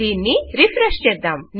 దీన్ని రెఫ్రెష్ చేద్దాం